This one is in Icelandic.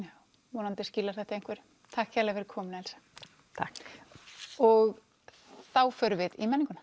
vonandi skilar þetta einhverju takk Elsa takk og þá förum við í menninguna